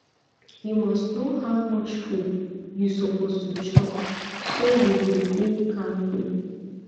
you must know how much food you suppose to chop so you go dey kampe